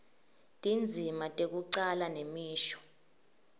tindzima tekucala nemisho